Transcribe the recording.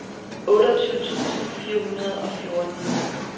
otteogtyve tusind fire hundrede og fjorten